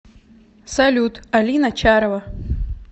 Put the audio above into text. салют алина чарова